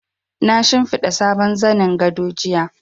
Na shimfiɗa sabon zanin gado jiya.